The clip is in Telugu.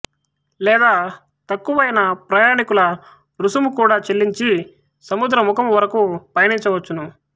లేదా తక్కువైన ప్రయాణీకుల రుసుము కూడా చెల్లించి సముద్రముఖము వరకు పయనించవచ్చును